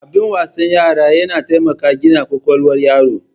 Abin wasan yara yana taimakon gina kwakwalwar yaro.